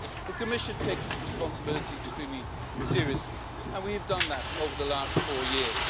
The Commission takes its responsibilities extremely seriously, and we have done that over the last four years.